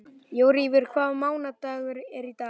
Jóríður, hvaða mánaðardagur er í dag?